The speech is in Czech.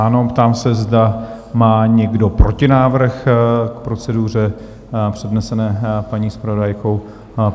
Ano, ptám se, zda má někdo protinávrh k proceduře přednesené paní zpravodajkou?